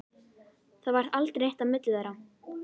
Það varð aldrei neitt á milli þeirra.